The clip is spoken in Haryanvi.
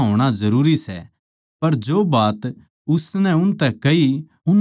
पर जो बात उसनै उनतै कही उननै कोनी समझया